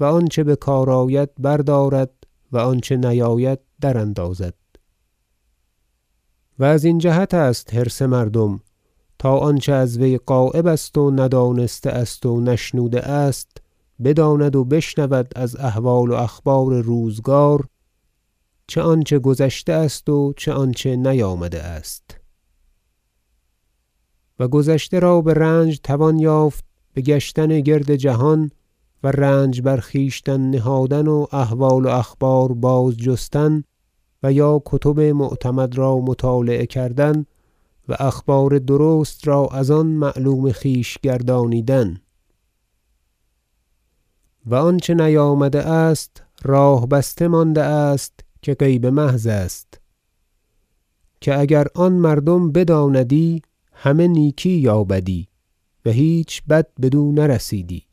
و آنچه بکار آید بردارد و آنچه نیاید در اندازد و از این جهت است حرص مردم تا آنچه از وی غایب است و ندانسته است و نشنوده است بداند و بشنود از احوال و اخبار روزگار چه آنچه گذشته است و چه آنچه نیامده است و گذشته را برنج توان یافت بگشتن گرد جهان و رنج بر خویشتن نهادن و احوال و اخبار بازجستن و یا کتب معتمد را مطالعه کردن و اخبار درست را از آن معلوم خویش گردانیدن و آنچه نیامده است راه بسته مانده است که غیب محض است که اگر آن مردم بداندی همه نیکی یا بدی و هیچ بد بدو نرسیدی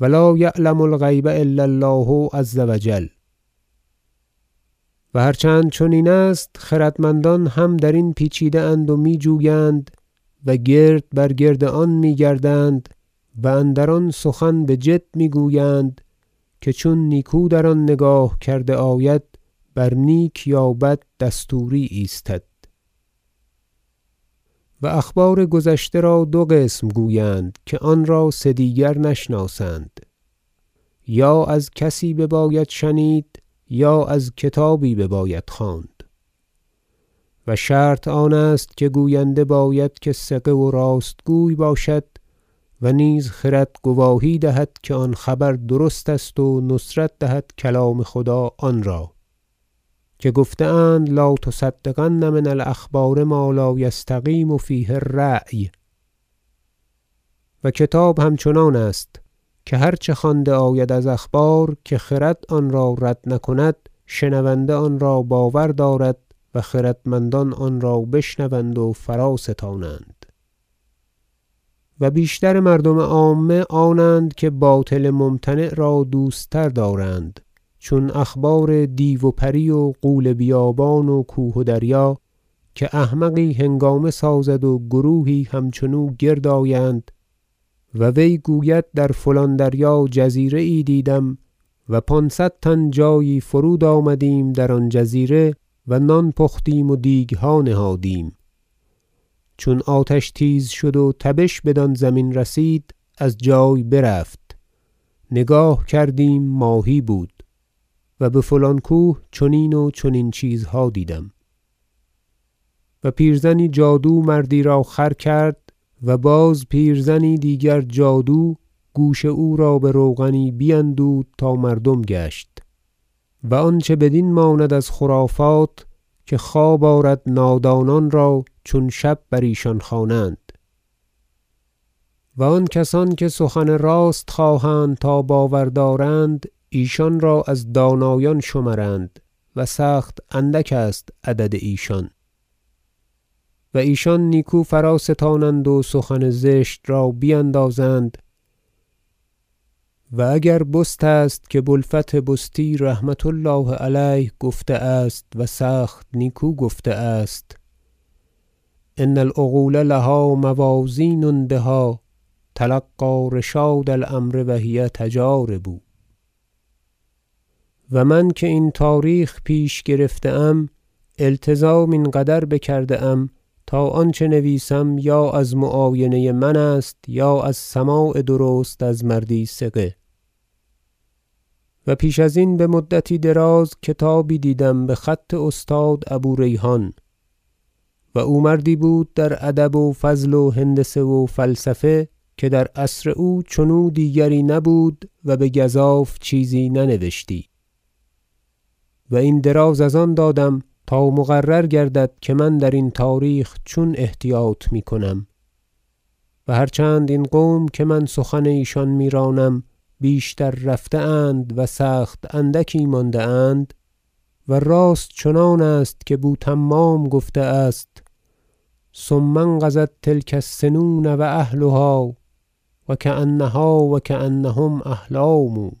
و لا یعلم الغیب الا الله عز و جل و هر چند چنین است خردمندان هم در این پیچیده اند و میجویند و گرد بر گرد آن میگردند و اندر آن سخن بجد میگویند که چون نیکو در آن نگاه کرده آید بر نیک یا بد دستوری ایستد و اخبار گذشته را دو قسم گویند که آنرا سه دیگر نشناسند یا از کسی بباید شنید و یا از کتابی بباید خواند و شرط آن است که گوینده باید که ثقه و راستگوی باشد و نیز خرد گواهی دهد که آن خبر درست است و نصرت دهد کلام خدا آنرا که گفته اند لا تصدقن من الأخبار ما لا یستقیم فیه الرأی و کتاب همچنان است که هر چه خوانده آید از اخبار که خرد آنرا رد نکند شنونده آنرا باور دارد و خردمندان آنرا بشنوند و فرا ستانند و بیشتر مردم عامه آنند که باطل ممتنع را دوست تر دارند چون اخبار دیو و پری و غول بیابان و کوه و دریا که احمقی هنگامه سازد و گروهی همچنو گرد آیند و وی گوید در فلان دریا جزیره یی دیدم و پانصد تن جایی فرود آمدیم در آن جزیره و نان پختیم و دیگها نهادیم چون آتش تیز شد و تبش بدان زمین رسید از جای برفت نگاه کردیم ماهی بود و بفلان کوه چنین و چنین چیزها دیدم و پیرزنی جادو مردی را خر کرد و باز پیرزنی دیگر جادو گوش او را بروغنی بیندود تا مردم گشت و آنچه بدین ماند از خرافات که خواب آرد نادانان را چون شب بر ایشان خوانند و آن کسان که سخن راست خواهند تا باور دارند ایشان را از دانایان شمرند و سخت اندک است عدد ایشان و ایشان نیکو فرا- ستانند و سخن زشت را بیندازند و اگر بست است که بو الفتح بستی رحمة الله علیه گفته است و سخت نیکو گفته است شعر ان العقول لها موازین بها تلقی رشاد الأمر و هی تجارب و من که این تاریخ پیش گرفته ام التزام این قدر بکرده ام تا آنچه نویسم یا از معاینه من است یا از سماع درست از مردی ثقه و پیش ازین به مدتی دراز کتابی دیدم بخط استاد ابو ریحان و او مردی بود در ادب و فضل و هندسه و فلسفه که در عصر او چنو دیگری نبود و بگزاف چیزی ننوشتی و این دراز از آن دادم تا مقرر گردد که من درین تاریخ چون احتیاط میکنم و هر چند این قوم که من سخن ایشان میرانم بیشتر رفته اند و سخت اندکی مانده اند و راست چنان است که بو تمام گفته است شعر ثم انقضت تلک السنون و اهلها و کانها و کانهم احلام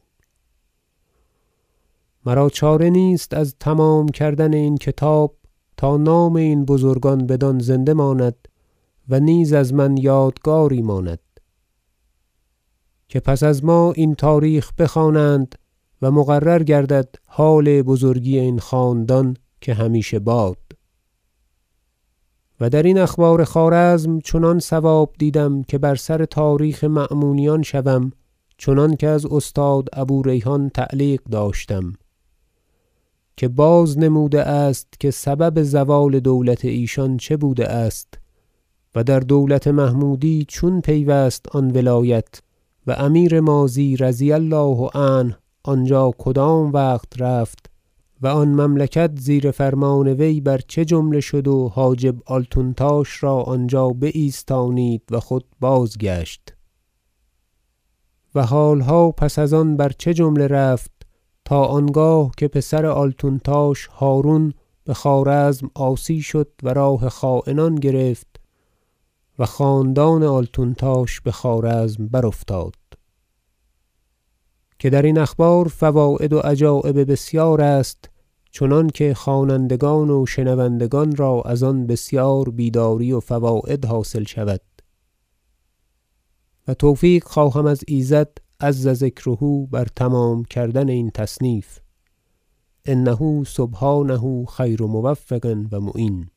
مرا چاره نیست از تمام کردن این کتاب تا نام این بزرگان بدان زنده ماند و نیز از من یادگاری ماند که پس از ما این تاریخ بخوانند و مقرر گردد حال بزرگی این خاندان که همیشه باد و در این اخبار خوارزم چنان صواب دیدم که بر سر تاریخ مأمونیان شوم چنانکه از استاد ابو ریحان تعلیق داشتم که بازنموده است که سبب زوال دولت ایشان چه بوده است و در دولت محمودی چون پیوست آن ولایت و امیر ماضی رضی الله عنه آنجا کدام وقت رفت و آن مملکت زیر فرمان وی بر چه جمله شد و حاجب آلتونتاش را آنجا بایستانید و خود بازگشت و حالها پس از آن بر چه جمله رفت تا آنگاه که پسر آلتونتاش هرون بخوارزم عاصی شد و راه خاینان گرفت و خاندان آلتونتاش بخوارزم برافتاد که درین اخبار فواید و عجایب بسیار است چنانکه خوانندگان و شنوندگان را از آن بسیار بیداری و فواید حاصل شود و توفیق خواهم از ایزد عز ذکره بر تمام کردن این تصنیف انه سبحانه خیر موفق و معین